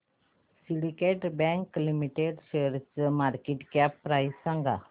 Syndicate bank limited शेअरची market cap price सांगा